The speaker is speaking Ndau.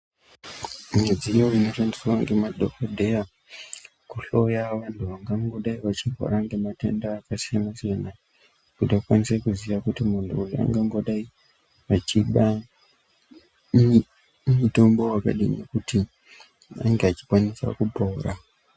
Midziyo inoshandiswa ngemadhogodheya kuhloya vantu vangango dai vachirwara ngematenda akasiyana-siyana. Kuti vakanise kuzviya kuti muntu uyu angangoda achida mitombo vakadini kuti ange achikwanisa kupora.